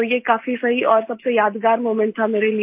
तो ये काफ़ी सही और सबसे यादगार मोमेंट था मेरे लिए